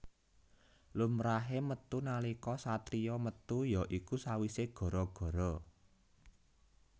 Lumrahé metu nalika satriya metu ya iku sawisé gara gara